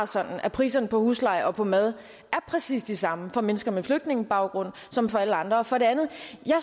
sådan at priserne på husleje og på mad er præcis de samme for mennesker med flygtningebaggrund som for alle andre for det andet